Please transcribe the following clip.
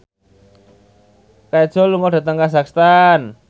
Kajol lunga dhateng kazakhstan